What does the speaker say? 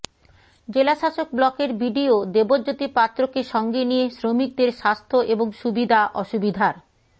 জেলাশাসক ব্লকের বিডিও দেবজ্যোতি পাত্রকে সঙ্গে নিয়ে শ্রমিকদের স্বাস্থ্য এবং সুবিধা অসুবিধার